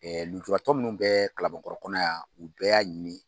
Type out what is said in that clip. lujuratɔ minnu bɛ Kalabankɔrɔ kɔnɔ yan, u bɛɛ y'a ɲini